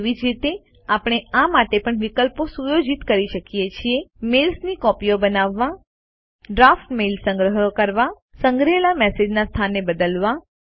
તેવી જ રીતે આપણે આ માટે પણ વિકલ્પો સુયોજિત કરી શકીએ છીએ મેઇલ્સની કૉપિઓ બનાવવા ડ્રાફ્ટ મેઈલ સંગ્રહ કરવા સંગ્રહેલા મેલ્સ ના સ્થાનને બદલવા